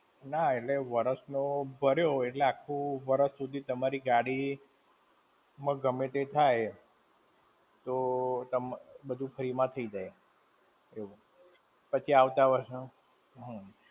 ના એટલે, વર્ષનો ભર્યો હોય એટલે આખું વરસ હુધી તમારી ગાડી, માં ગમે તે થાય, તો તમ, બધું free માં થઈ જાય. એવું. પછી આવતા વર્ષે, હમ.